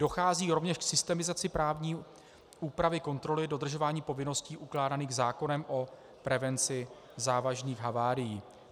Dochází rovněž k systemizaci právní úpravy kontroly dodržování povinností ukládaných zákonem o prevenci závažných havárií.